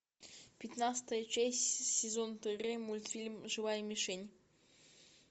пятнадцатая часть сезон три мультфильм живая мишень